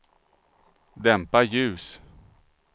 dämpa ljus